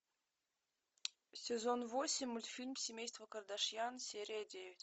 сезон восемь мультфильм семейство кардашьян серия девять